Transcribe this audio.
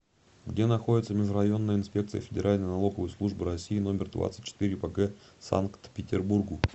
где находится межрайонная инспекция федеральной налоговой службы россии номер двадцать четыре по г санкт петербургу